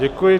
Děkuji.